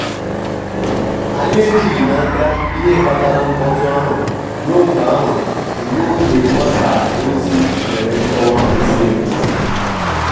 anyị ejighị n'aka ihe kpatara mkpọtụ ahụ ruo mgbe ahụ ruo mgbe mgbasa ozi nyere nkọwa kwesịrị ekwesị.